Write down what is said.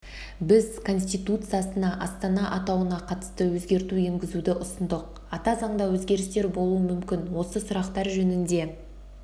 біз конституциясына астана атауына қатысты өзгерту енгізуді ұсындық ата заңда өзгерістер болуы мүмкін осы сұрақтар жөнінде